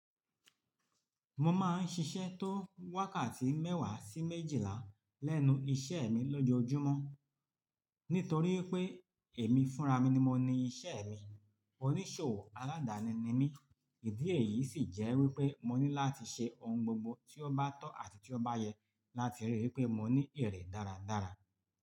Mo máa ń ṣiṣẹ́ tó wákàtí mẹ́wàá sí méjìlá lẹ́nu iṣẹ́ mi lójoojúmọ́. Nítorí pé èmi fúnra mi ni mo ní iṣẹ́ mi, oníṣòwò aládani ni mí. Ìdí èyí sì jẹ́ wípé mo ní láti ṣe ohun gbogbo tí ó bá tọ́ àti tí ó bá yẹ láti rí i pé mo ní èrè dáradára.